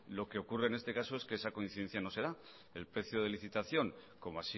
lo que ocurre en este caso es que esa coincidencia no se da el precio de licitación como